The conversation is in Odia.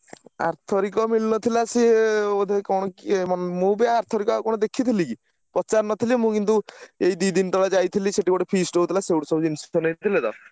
ଆର ଥରିକ ମିଳିନଥିଲା ସେ ବୋଧେ କଣ କିଏ ~ମ ମୁଁ ବି ଆରଥରିକ ଆଉ କଣ ଦେଖିଥିଲି କି ପଚାରି ନଥିଲି ମୁଁ କିନ୍ତୁ ଏଇ ଦି ଦିନି ତଳେ ଯାଇଥିଲି ସେଠି ଗୋଟେ feast ହଉଥିଲା ସେଇଠୁ ସବୁ ଜିନିଷ ନେଉଥିଲେ ତ।